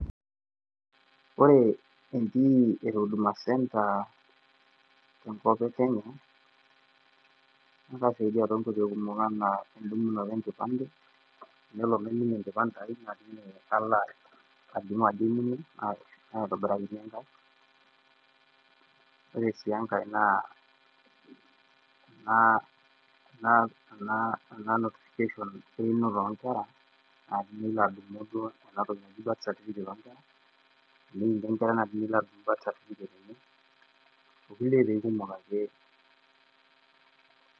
Ore e ntii e Huduma Center tenkop e Kenya naa kaaisaidia toonkoitoi kumok anaa endung'oto e nkipande nelo naiminie enkipande aai nalo alimu ajo eimina, naitobirakini enkai. Ore sii enkai naa ena notifiction einoto oo nkera naa tinilo duo atumie duo ena birth certificate oonkkera teneini enkerai nilai birth certicate enye, okulie kumok ake.